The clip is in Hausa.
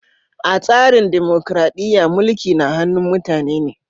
A tsarin dimokuradiyya, mulki na hannun mutane ne.